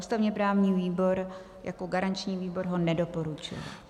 Ústavně-právní výbor jako garanční výbor ho nedoporučuje.